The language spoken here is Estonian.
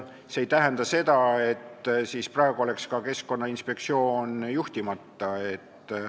See ei tähenda, et praegu oleks Keskkonnainspektsioon juhtimata.